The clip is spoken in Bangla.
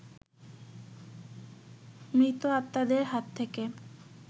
মৃত আত্মাদের হাত থেকে